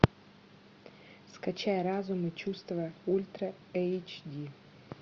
скачай разум и чувства ультра эйч ди